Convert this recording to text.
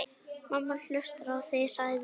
Mamma hlustar á þig, sagði